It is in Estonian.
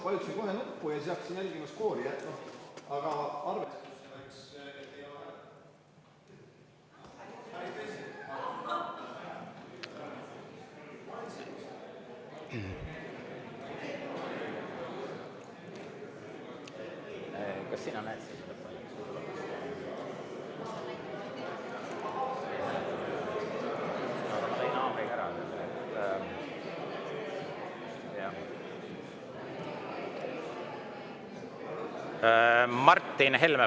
Martin Helme, palun!